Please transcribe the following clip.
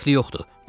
Dəxli yoxdur.